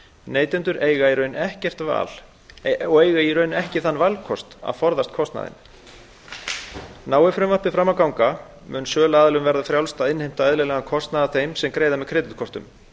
neytendur eiga í raun ekki þann valkost að forðast kostnaðinn nái frumvarpið fram að ganga mun söluaðilum verða frjálst að innheimta eðlilegan kostnað af þeim sem greiða með kreditkortum